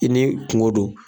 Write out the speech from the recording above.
I n'i kungo don.